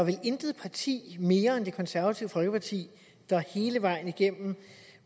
er vel intet parti mere end det konservative folkeparti hele vejen igennem